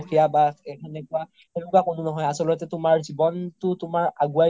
বা আছে সেনেকুৱা, সেনেকুৱা কোনো নহয় আচল্তে তুমাৰ জিৱ্নতো তুমাৰ আগোৱাই